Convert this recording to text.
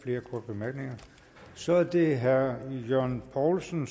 flere korte bemærkninger så er det herre jørgen poulsen